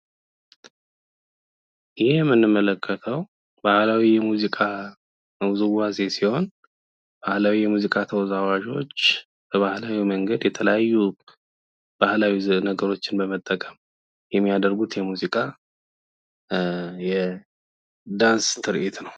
ይሄ የምንመለከተው ባህላዊ የሙዚቃ ሲሆን የሙዚቃ ተወዛዋዦች በባህላዊ መንገድ የተለያዩ ባህላዊ ነገሮችን በመጠቀም የሚያደርጉት የሙዚቃ የ ዳንስ ትርዒት ነው።